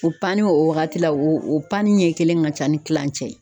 O panni o wagati la; o panni ɲɛ kelen ka ca ni tilancɛ ye.